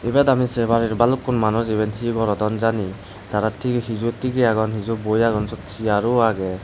ebot ami se paror balukkun manuj he gorodon jani tara ti heju tige agon heju boi agon seot chair ro agey.